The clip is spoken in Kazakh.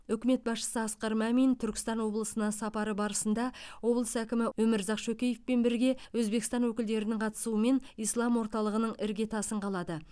үкімет басшысы асқар мамин түркістан облысына сапары барысында облыс әкімі өмірзақ шөкеевпен бірге өзбекстан өкілдерінің қатысуымен ислам орталығының іргетасын қалады